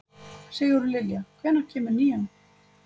Sigurlilja, hvenær kemur nían?